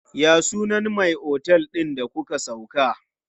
Ya sunan me otel din da muka sauka?